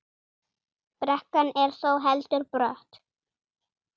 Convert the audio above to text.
Brekkan er þó heldur brött.